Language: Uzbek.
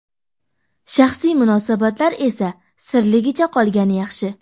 Shaxsiy munosabatlar esa sirligicha qolgani yaxshi.